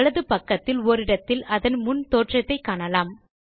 வலது பக்கத்தில் ஓரிடத்தில் அதன் முன் தோற்றத்தை காணலாம்